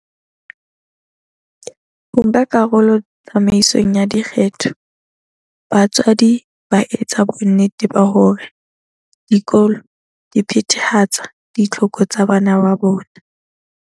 Ho nka karolo tsamaisong ya dikgetho, batswadi ba etsa bonnete ba hore dikolo di phethahatsa ditlhoko tsa bana ba bona.